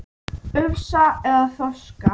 Ufsa eða þorska?